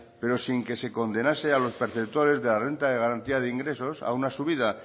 pero sin que se condenase a los perceptores de la renta de garantía de ingresos a una subida